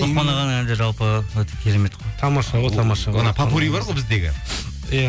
ұлықпаған ағаның әндері жалпы өте керемет қой тамаша ғой тамаша анау поппури бар ғой біздегі иә